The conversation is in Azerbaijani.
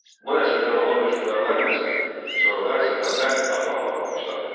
Bu nəsildən olan hökmdarlar nəsli sonralar Səfəvilər adlanmağa başladı.